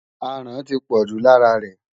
Aràn ti pọ̀jù lára rẹ̀.